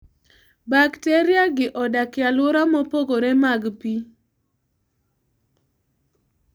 Bakteriagi odak e alwora mopogore mag pi.